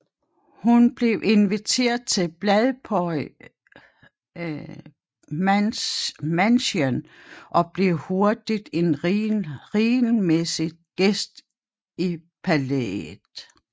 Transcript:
Hun blev inviteret til Playboy Mansion og blev hurtigt en regelmæssig gæst i palæet